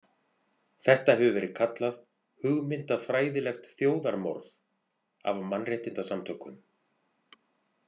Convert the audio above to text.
Þetta hefur verið kallað „hugmyndafræðilegt þjóðarmorð“ af mannréttindasamtökum.